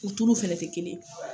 U tulu fana tɛ kelen ye